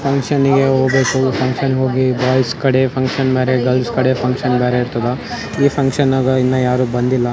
ಫುಕ್ಷನ್ನಿಗೆ ಊಟ ಬಾಯ್ಸ್ ಕಡೆ ಫುನ್ಕ್ಷನ್ ಬ್ರೆ ಗರ್ಲ್ಸ್ ಗಾದೆ ಫುನ್ಕ್ಷನ್ ಬೇರೆ ಈ ಫುಕ್ಷನ್ ಗೆ ಇನ್ನ ಯಾರು ಬಂದಿಲ್ಲ .